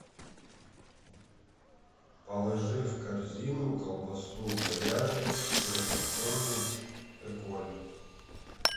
положи в корзину колбасу говяжью сырокопченую эколь